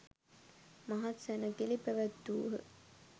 මහත් සැණකෙළි පැවැත්වූහ.